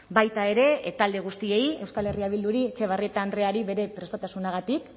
baita ere talde guztiei euskal herria bilduri etxebarrieta andreari bere prestutasunagatik